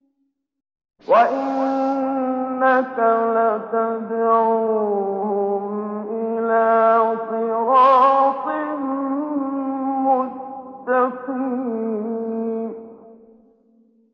وَإِنَّكَ لَتَدْعُوهُمْ إِلَىٰ صِرَاطٍ مُّسْتَقِيمٍ